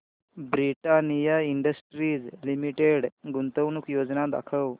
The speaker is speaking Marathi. ब्रिटानिया इंडस्ट्रीज लिमिटेड गुंतवणूक योजना दाखव